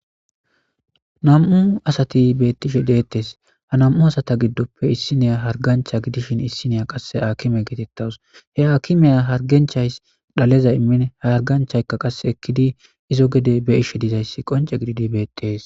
Nam'u asati beettishe deettes ha nam'u asata giddoppe issiniya hargancha gidishin issineya qasse akime geetettawus he akimeya harganchay dhaleza immin haarganchaykka qasse ekkidi izo gede be ishe dizayssi qonce gididi beettees.